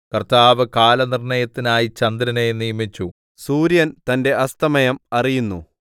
കർത്താവ് കാലനിർണ്ണയത്തിനായി ചന്ദ്രനെ നിയമിച്ചു സൂര്യൻ തന്റെ അസ്തമയം അറിയുന്നു